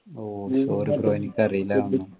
oh sorry bro എനിക്കറീലർന്നു